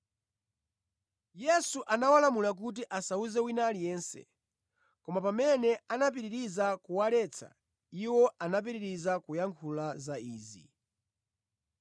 Yesu anawalamula kuti asawuze wina aliyense. Koma pamene anapitiriza kuwaletsa, iwo anapitiriza kuyankhula za izi.